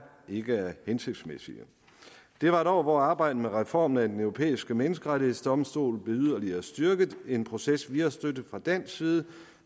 ikke er hensigtsmæssige det var et år hvor arbejdet med reformen af den europæiske menneskerettighedsdomstol blev yderligere styrket en proces vi har støttet fra dansk side